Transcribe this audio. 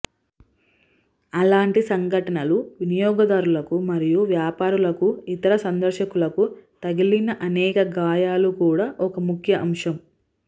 అలాంటి సంఘటనలు వినియోగదారులకు మరియు వ్యాపారాలకు ఇతర సందర్శకులకు తగిలిన అనేక గాయాలు కూడా ఒక ముఖ్య అంశం